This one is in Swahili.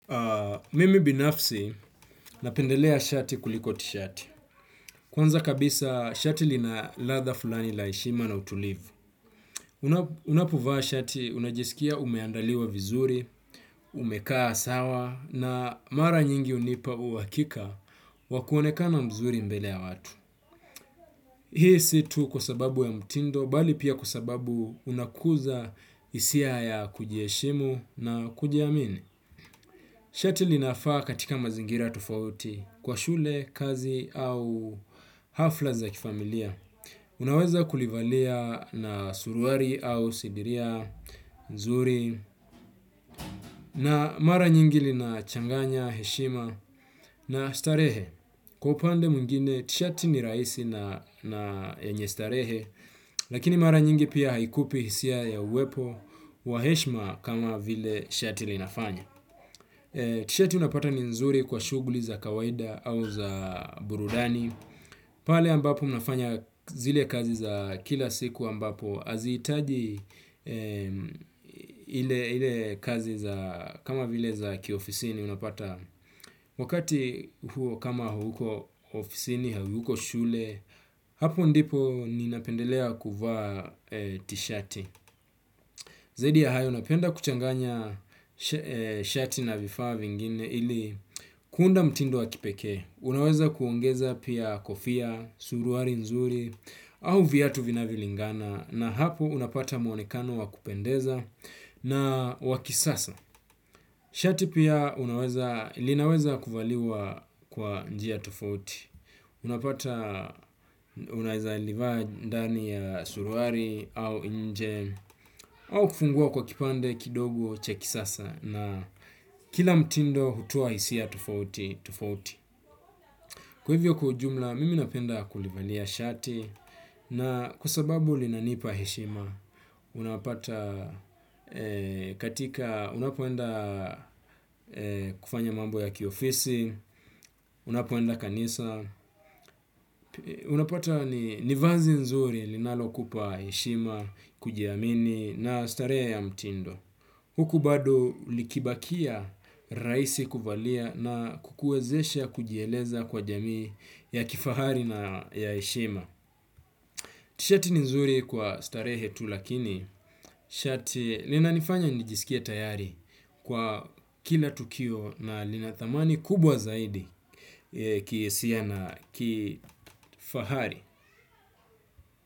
Mimi binafsi napendelea shati kuliko ti shati. Kwanza kabisa shati lina latha fulani laishima na utulivu. Unapovaa shati unajisikia umeandaliwa vizuri, umekaa sawa na mara nyingi unipa uwakika wakuoneka na mzuri mbelea watu. Hii situ kuasababu ya mutindo bali pia kuasababu unakuza isia ya kujieshimu na kujiamini. Shati linafaa katika mazingira tofauti kwa shule kazi au hafla za kifamilia. Unaweza kulivalia na suruari au sidiria, nzuri na mara nyingi lina changanya, heshima na starehe. Kwa upande muingine, tshati ni raisi na yenyestarehe, lakini mara nyingi pia haikupi hisia ya uwepo, waheshma kama vile shati linafanya. Tshati unapata ni nzuri kwa shuguli za kawaida au za burudani. Pale ambapo mnafanya zile kazi za kila siku ambapo azitaji ile kazi za kama vile za kiofisini unapata wakati huo kama hauko ofisini, hauko shule, hapo ndipo ninapendelea kuva tishati. Zaidi ya hayo napenda kuchanganya shati na vifaa vingine ili kuunda mtindo wa kipeke. Unaweza kuongeza pia kofia, suruari nzuri au viyatu vinavilingana na hapo unapata muonekano wakupendeza na wakisasa. Shati pia linaweza kuvaliwa kwa njia tufauti, unapata unaheza livaa ndani ya suruari au nje au kufungua kwa kipande kidogo cheki sasa na kila mtindo hutoa hisia tofauti tofauti. Kwevyo kwa ujumla mimi napenda kulivalia shati na kuasababu linanipa heshima unapata katika unapoenda kufanya mambo ya kiofisi unapoenda kanisa unapata nivazi nzuri linalo kupa heshima kujiamini na starea ya mtindo. Huku bado likibakia raisi kuvalia na kukuezeshe kujieleza kwa jamii ya kifahari na ya eshima. Shati nizuri kwa starehetu lakini shati nina nifanya nijisikia tayari kwa kila tukio na linathamani kubwa zaidi kiesia na kifahari.